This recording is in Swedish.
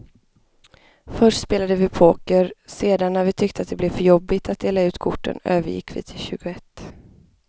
Först spelade vi poker, sedan när vi tyckte att det blev för jobbigt att dela ut korten övergick vi till tjugoett.